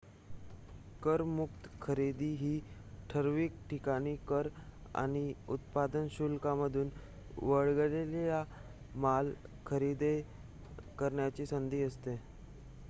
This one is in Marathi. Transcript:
करमुक्त खरेदी ही ठराविक ठिकाणी कर आणि उत्पादन शुल्कांमधून वगळलेला माल खरेदी करण्याची संधी असते